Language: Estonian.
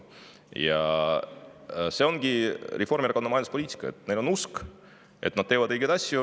See ongi Reformierakonna majanduspoliitika: neil on usk, et nad teevad õigeid asju.